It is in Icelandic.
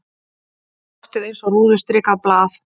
Loftið eins og rúðustrikað blað.